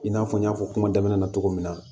I n'a fɔ n y'a fɔ kuma daminɛ na cogo min na